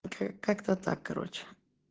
вот как-то так короче